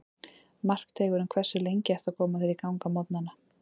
Markteigurinn Hversu lengi ertu að koma þér í gang á morgnanna?